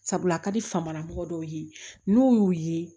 Sabula a ka di fama karamɔgɔ dɔw ye n'u y'u ye